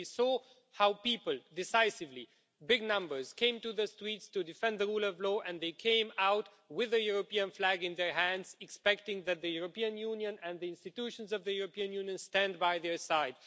We saw how people decisively big numbers came to the streets to defend the rule of law and they came out with the European flag in their hands, expecting that the European Union and the institutions of the European Union would stand by their side.